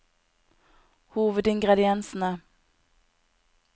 hovedingrediensene